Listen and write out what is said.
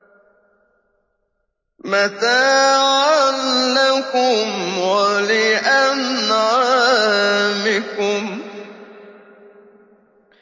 مَتَاعًا لَّكُمْ وَلِأَنْعَامِكُمْ